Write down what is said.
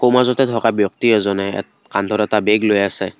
মাজতে থকা ব্যক্তি এজনে এ কান্ধত এটা বেগ লৈ আছে।